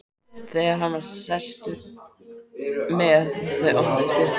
Þegar hann var sestur með þau opnuðust dyrnar.